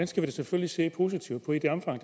skal vi selvfølgelig se positivt på i det omfang